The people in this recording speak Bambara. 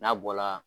N'a bɔla